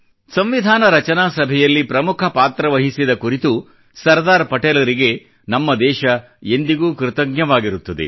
ಸಂವಿಧಾನ ರಚನಾ ಸಭೆಯಲ್ಲಿ ಪ್ರಮುಖ ಪಾತ್ರವಹಿಸಿದ ಕುರಿತು ಸರ್ದಾರ್ ಪಟೇಲರಿಗೆ ನಮ್ಮ ದೇಶ ಎಂದಿಗೂ ಕೃತಜ್ಞವಾಗಿರುತ್ತದೆ